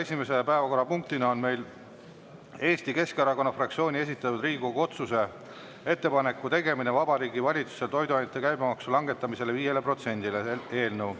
Esimene päevakorrapunkt on meil Eesti Keskerakonna fraktsiooni esitatud Riigikogu otsuse "Ettepaneku tegemine Vabariigi Valitsusele toiduainete käibemaksu langetamiseks 5-le protsendile" eelnõu